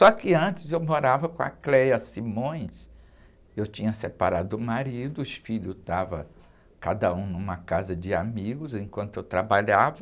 Só que antes eu morava com a, eu tinha separado do marido, os filhos estavam cada um em uma casa de amigos enquanto eu trabalhava.